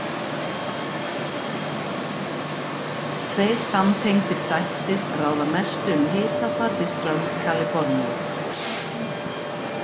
Tveir samtengdir þættir ráða mestu um hitafar við strönd Kaliforníu.